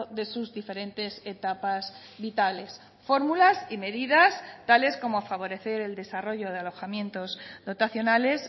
de sus diferentes etapas vitales fórmulas y medidas tales como favorecer el desarrollo de alojamientos dotacionales